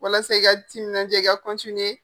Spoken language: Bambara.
Walasa i ka timinanadiya i ka